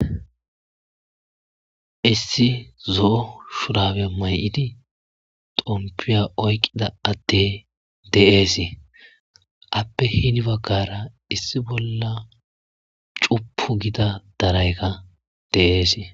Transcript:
Issi zo7o shurabiya may'idi tompiya oykqida atte deeesi appe hini baggara issi bolla cupu gida daraykka deeesi.